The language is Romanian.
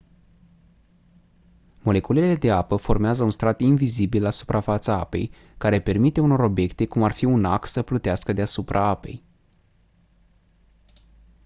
moleculele de apă formează un strat invizibil la suprafața apei care permite unor obiecte cum ar fi un ac să plutească deasupra apei